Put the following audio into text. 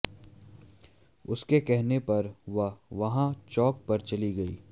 उसके कहने पर वह वहां चौक पर चली गई